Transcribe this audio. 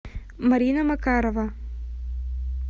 марина макарова